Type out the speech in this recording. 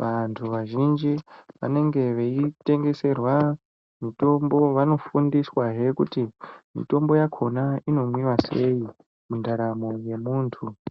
vantu vazhinji vanenge veitengeserwa mitombo. Vanofundiswahe kuti mitombo yakhona inomwiwa sei, mundaramo yemuntu.